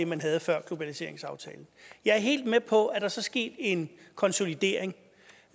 man havde før globaliseringsaftalen jeg er helt med på at der så er sket en konsolidering